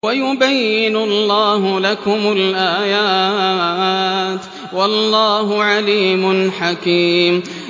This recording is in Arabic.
وَيُبَيِّنُ اللَّهُ لَكُمُ الْآيَاتِ ۚ وَاللَّهُ عَلِيمٌ حَكِيمٌ